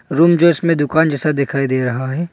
Room जो इसमें दुकान जैसा दिखाई दे रहा है।